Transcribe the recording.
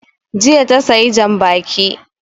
Jiya ta sayi jan baƙi